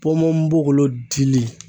Ponponpogolon dili